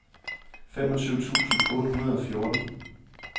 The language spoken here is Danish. femogtyve tusind otte hundrede og fjorten